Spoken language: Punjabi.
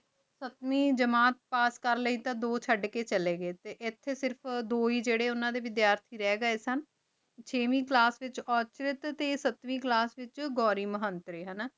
ਪਾਸ ਕਰ ਲੈ ਟੀ ਦੋ ਚੜ ਕੀ ਚਲੀ ਗੀ ਟੀ ਏਥੀ ਜੀਰੀ ਦੋ ਉਨਾ ਡੀ ਵੇਦ੍ਯਾਤੀ ਰਹ ਗੀ ਸਨ ਚਿਵੇ ਕਲਾਸ ਉਠ੍ਰੇਟ ਟੀ ਸਤ੍ਵੇਈ ਕਲਾਸ ਵੇਚ ਘੂਰੀ ਮਹ੍ਨ੍ਤਾਰੀ ਹਾਨਾ